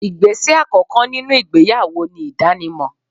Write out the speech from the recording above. Igbese àkókò nínú ìgbéyàwó ni idanimo